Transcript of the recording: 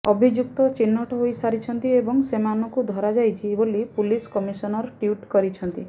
ଅଭିଯୁକ୍ତ ଚିହ୍ନଟ ହୋଇସାରିଛନ୍ତି ଏବଂ ସେମାନଙ୍କୁ ଧରାଯାଇଛି ବୋଲି ପୁଲିସ କମିଶନର ଟ୍ୱିଟ କରିଛନ୍ତି